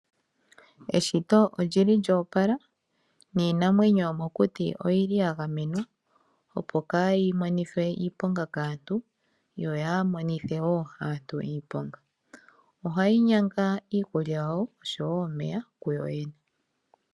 Eshito olyi li lyo opala, niinamwenyo yomokuti, oyi li ya gamenwa, opo kaa yi monithwe iiponga kaantu, yo yaamonithe woo aantu iiponga. Oha yi nyanga woo iikulya yawo osho wo omeya kuyo yene.